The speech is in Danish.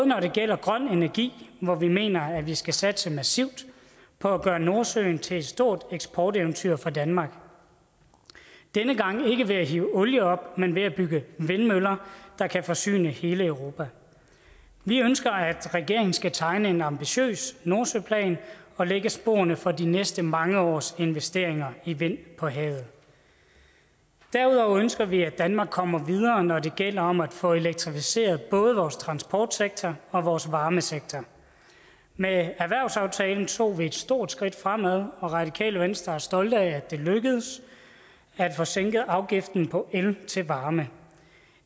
når det gælder grøn energi og vi mener at vi skal satse massivt på at gøre nordsøen til et stort eksporteventyr for danmark denne gang ikke ved at hive olie op men ved at bygge vindmøller der kan forsyne hele europa vi ønsker at regeringen skal tegne en ambitiøs nordsøplan og lægge sporene for de næste mange års investeringer i vind på havet derudover ønsker vi at danmark kommer videre når det gælder om at få elektrificeret både vores transportsektor og vores varmesektor med erhvervsaftalen tog vi et stort skridt fremad og radikale venstre er stolte af at det lykkedes at få sænket afgiften på el til varme